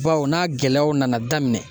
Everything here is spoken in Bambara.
Bawu n'a gɛlɛyaw nana daminɛ